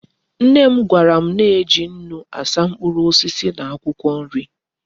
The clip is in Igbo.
Nnem gwaram na eji nnu asa mkpuru osisi na akwukwo nri